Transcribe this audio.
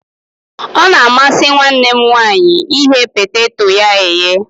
Ọ na-amasi nwanne m nwanyi ighe poteto ya eye